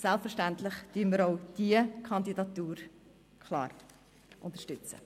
Selbstverständlich werden wir auch diese Kandidatur klar unterstützen.